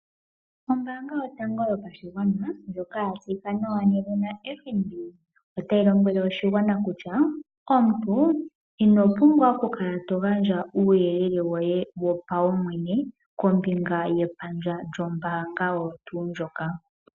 Ombaanga yotango yopashigwana ndjoka ya tseyika nawa nedhina FNB, otayi lombwele oshigwana kutya omuntu ino pumbwa oku kala to gandja uuyelele woye wopaumwene kombinga yepandja lyombaanga oyo tuu ndjoka.